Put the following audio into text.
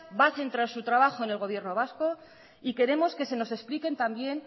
va a centrar su trabajo el gobierno vasco y queremos que se nos expliquen también